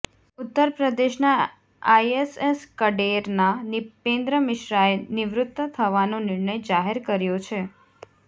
ઉત્તરપ્રદેશના આઈએસએસ કડેરના નિપેન્દ્રમિશ્રાએ નિવૃત થવાનો નિર્ણય જાહેર કર્યો છે